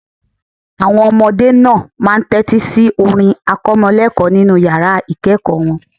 Àwọn ọmọdé náà máa ń tẹ́tí si orin akọ́mọlẹ́ẹ̀kọ́ nínu yàrá ìkẹ́ẹ̀kọ̀ wọn